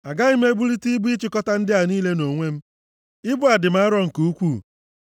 Agaghị m ebulite ibu ịchịkọta ndị a niile nʼonwe m! Ibu a dị m arọ nke ukwuu.